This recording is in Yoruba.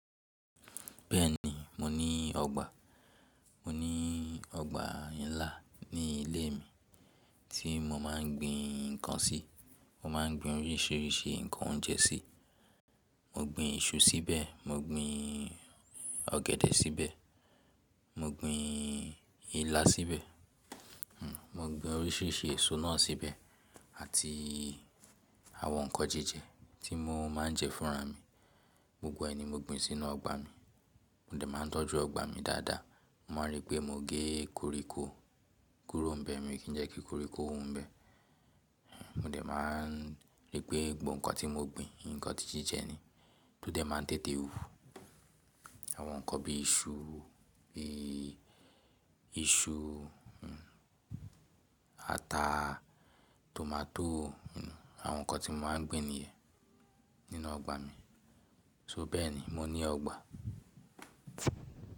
Bẹ́ẹ̀ni, mo ní ọgbà. Mo ní ọgbà ńlá ní ilé mi tí mo máa ń gbin nǹkan sí. Mo máa ń gbin oríṣiríṣi nǹkan oúnjẹ sí. Mo gbin iṣu síbẹ̀, mo gbin ọ̀gẹ̀dẹ̀ síbẹ̀, mo gbin ilá síbẹ̀, mo gbin oríṣiríṣi èso náà síbẹ̀ àti àwọn nǹkan jíjẹ tí mo máa ń jẹ fúnra mi. Gbogbo ẹ̀ ni mo gbin sí inú ọgbà mi mo dà máa ń tọ́jú ọgbà mi dáadáa. Mo máa ń rí pé mo gé koríko kúrò n bẹ̀ mi kì n jẹ́ kí koríko wu n bẹ̀. Mo dẹ̀ máa rí pé gbogbo nǹkan tí mo gbin, nǹkan tí jíjẹ ni tó dẹ̀ máa ń tètè hù. Àwọn nǹkan bíi iṣu, bí iṣu, ata, tòmátò àwọn nǹkan tí mo máa ń gbin nìyẹn nínú ọgbà mi. So bẹ́ẹ̀ ni, mo ní ọgbà.